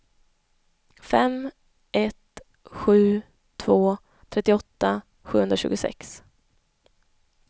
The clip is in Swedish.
fem ett sju två trettioåtta sjuhundratjugosex